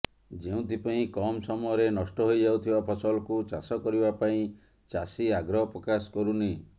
ଯେଉଁଥିପାଇଁ କମ୍ ସମୟରେ ନଷ୍ଟ ହୋଇଯାଉଥବା ଫସଲକୁ ଚାଷ କରିବା ପାଇଁ ଚାଷୀ ଆଗ୍ରହ ପ୍ରକାଶ କରୁନି